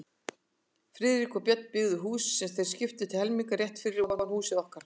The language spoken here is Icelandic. Friðrik og Björn, byggðu hús, sem þeir skiptu til helminga, rétt fyrir ofan húsið okkar.